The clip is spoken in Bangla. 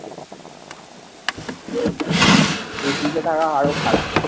AC তে থাকা আরো খারাপ।